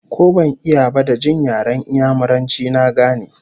Ko ban iya ba, da jin yaren Inyamuranci na gane